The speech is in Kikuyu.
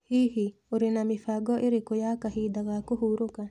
Hihi, ũrĩ na mĩbango ĩrĩkũ ya kahinda ga kũhurũka?